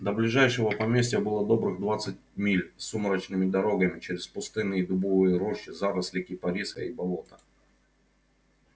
до ближайшего поместья было добрых двадцать миль сумрачными дорогами через пустынные дубовые рощи заросли кипариса и болота